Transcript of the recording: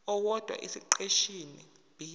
owodwa esiqeshini b